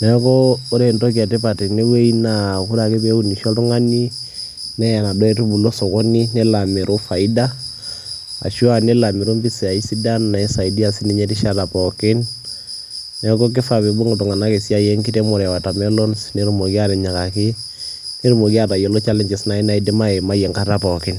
Neeku ore entoki e tipat tene wuei naa ore ake peunisho oltung'ani neya naduo aitubulu osokoni nelo amiru faida ashu aa nelo amiru mpisai sidan naisaidia sininye erishata pookin. Neeku kifaa piibung' iltung'anak esiai enkiremore e watermelons netumoki aatinyikaki, netumoki aatayiolo challenges nai naidim aimai enkata pookin.